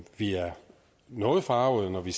noget forargede når vi